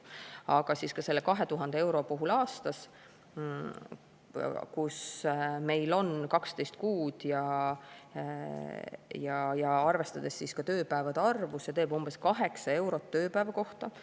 Aga ka selle 2000 euro puhul aastas, kus meil on 12 kuud, ja arvestades ka tööpäevade arvu, see teeb umbes 8 eurot tööpäeva kohta.